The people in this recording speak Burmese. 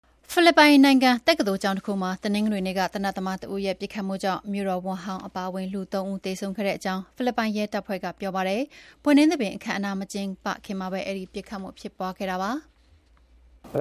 ဖိလစ်ပိုင်နိုင်ငံ တက္ကသိုလ်ကျောင်းတခုမှာ တနင်္ဂနွေနေ့က သေနတ်သမားတဦးရဲ့ပစ်ခတ်မှုကြောင့် မြို့တော်ဝန်ဟောင်းအပါအဝင် လူ၃ ဦးသေဆုံးခဲ့ကြောင်း ဖိလစ်ပိုင်ရဲတပ်ဖွ့ဲကပြောပါတယ်။ ဘွဲ့နှင်းသဘင်အခမ်းအနား မကျင်းပခင်မှာပဲ ပစ်ခတ်မှုဖြစ်ပွါးခဲ့တာပါ။